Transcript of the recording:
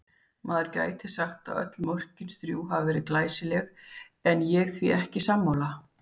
Maður gæti sagt að öll mörkin þrjú hafi verið glæsileg en ég því ekki sammála.